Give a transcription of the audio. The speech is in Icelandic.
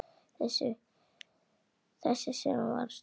Þessi sem var stolið!